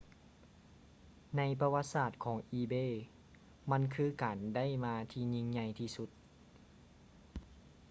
ໃນປະຫວັດສາດຂອງ ອີເບ ebay ມັນຄືການໄດ້ມາທີ່ຍິ່ງໃຫຍ່ທີ່ສຸດ